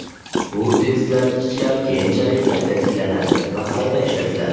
Bu tezlatkichlar keyinchalik qayta tiklanadi va qayta ishlatiladi.